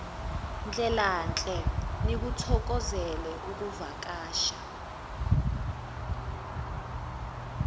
ndlelanhle nikuthokozele ukuvakasha